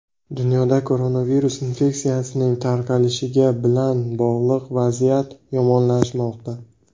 Dunyoda koronavirus infeksiyasining tarqalishiga bilan bog‘liq vaziyat yomonlashmoqda.